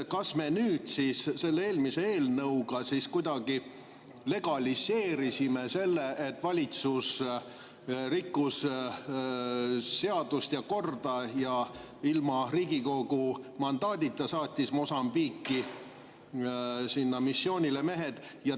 Kas me selle eelmise eelnõuga kuidagi legaliseerisime selle, et valitsus rikkus seadust ja korda ning ilma Riigikogu mandaadita saatis mehed Mosambiiki missioonile?